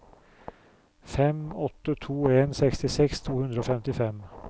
fem åtte to en sekstiseks to hundre og femtifem